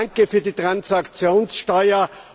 Danke für die Transaktionssteuer!